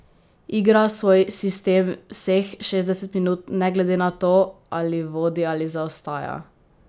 Igra svoj sistem vseh šestdeset minut ne glede na to, ali vodi ali zaostaja.